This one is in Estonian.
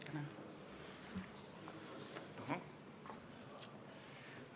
Tänan!